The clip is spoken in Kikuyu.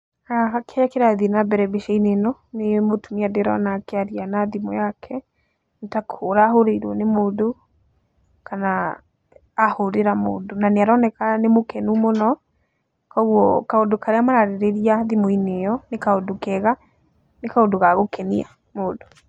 Haha kĩrĩa kĩrathiĩ nambere mbica-inĩ ĩno nĩ mũtumia ndĩrona akĩaria na thimũ yake nĩ ta kũhũra ahũrĩirwo nĩ mũndũ, kana ahũrĩra mũndũ, na nĩaroneka nĩ mũkenu mũno, koguo kaũndũ karĩa maraarĩrĩria thimũ-inĩ ĩno nĩ kaũndũ kega nĩ kaũndũ ga gũkenia mũndũ.